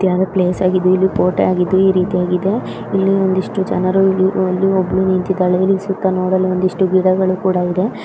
ಇತ್ಯಾದಿ ಪ್ಲೇಸ್ ಹಾಗಿದೆ ಇದು ಕೋಟೆಯಾಗಿದೆ ಈರೀತಿ ಆಗಿದೆ ಇಲ್ಲಿ ಒಂದಿಷ್ಟು ಜನರು ಇಲ್ಲಿ ಒಬ್ಬಳು ನಿಂತಿದ್ದಾಳೆ ವೈರಿಂಗ್ ಸುತ್ತ ನೋಡಲು ಒಂದಿಷ್ಟು ಗಿಡಗಳು ಕೂಡ ಇದೆ.